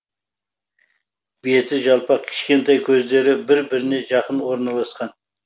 беті жалпақ кішкентай көздері бір біріне жақын орналасқан